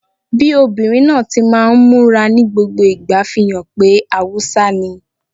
Bí obìnrin náà ti máa ń múra ní gbogbo ìgbà fi hàn pé Haúsá ni